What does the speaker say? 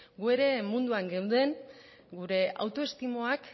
guk ere munduan geunden gure autoestimoak